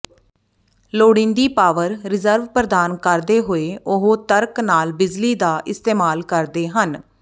ਲੋੜੀਂਦੀ power reserve ਪ੍ਰਦਾਨ ਕਰਦੇ ਹੋਏ ਉਹ ਤਰਕ ਨਾਲ ਬਿਜਲੀ ਦਾ ਇਸਤੇਮਾਲ ਕਰਦੇ ਹਨ